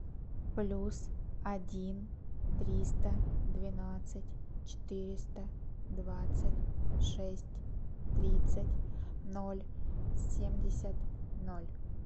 плюс один триста двенадцать четыреста двадцать шесть тридцать ноль семьдесят ноль